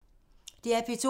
DR P2